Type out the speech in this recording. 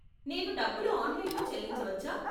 నేను డబ్బులు ఆన్లైన్లో చెల్లించవచ్చా?